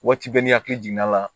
Waati bɛɛ n'i hakili jiginna la